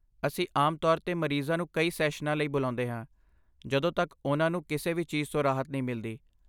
ਅਸੀਂ ਆਮ ਤੌਰ 'ਤੇ ਮਰੀਜ਼ਾਂ ਨੂੰ ਕਈ ਸੈਸ਼ਨਾਂ ਲਈ ਬੁਲਾਉਂਦੇ ਹਾਂ ਜਦੋਂ ਤੱਕ ਉਨ੍ਹਾਂ ਨੂੰ ਕਿਸੇ ਵੀ ਚੀਜ਼ ਤੋਂ ਰਾਹਤ ਨਹੀਂ ਮਿਲਦੀ।